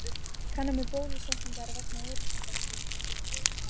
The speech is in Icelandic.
Kanna með bólusetningar vegna eyrnabólgu